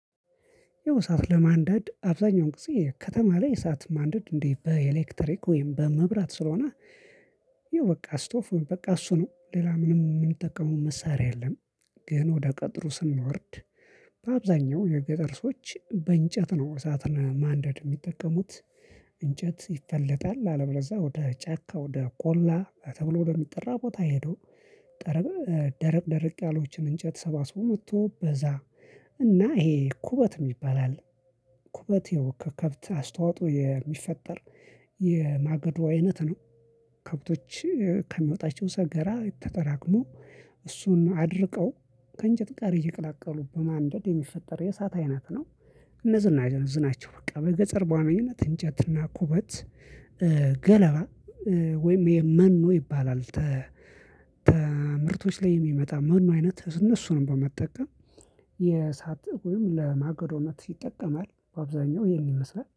ያው እሳት ለማንደድ አብዛኛውን ጊዜ ከተማ ላይ የእሳት ማንደድ እንዴ? በኤሌክትሪክ ወይም በመብራት ስለሆነ ይኸው በቃ እሱ ነው ሌላ ምንም የምንጠቀመው መሳሪያ የለም። ግን ወደ ገጠሩ ስንወርድ በአብዛኛው የገጠር ሰዎች በእንጨት ነው እሳት ማንደድ የሚጠቀሙት። እንጨት ይፈለጣል አለበለዚያ ወደ ጫካ ወደ ቆላ ተብሎ ለሚጠራ ቦታ ሄዶ ጠረብ ደረቅ ደረቅ ያሎችን እንጨት ሰባስቦ መጥቶ በዛ እና ይሄ ኩበት የሚባል አለ። ኩበት የወከት ከብት አስተዋጽኦ የሚፈጠር የማገዶ አይነት ነው። ከብቶች ከሚወጣቸው ሰገራ ተጠራቅሞ እሱን አድርቀው ከእንጨት ጋር እየቀላቀሉ በማንደድ የሚፈጠር የእሳት አይነት ነው። እነዚህን አይነት ብዙ ናቸው በቃ በገጸርቧ አመኝነት እንጨትና ኩበት ገለባ ወይም ይሄ መኖ ይባላል። ከምርቶች ላይ የሚመጣ መኖ አይነት እነሱንም በመጠቀም የሳጥብ ወይም ለማገዶነት ይጠቀማል በአብዛኛው ይሄን ይመስላል